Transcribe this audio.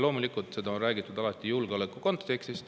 Loomulikult on sellest alati räägitud julgeoleku kontekstis.